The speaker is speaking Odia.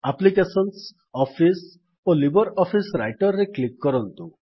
ଆପ୍ଲିକେସନ୍ସ ଅଫିସ୍ ଓ ଲିବର୍ ଅଫିସ୍ ରାଇଟର୍ ରେ କ୍ଲିକ୍ କରନ୍ତୁ